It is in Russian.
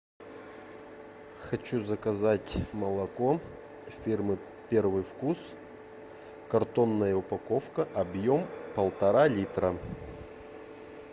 хочу заказать молоко фирмы первый вкус картонная упаковка объем полтора литра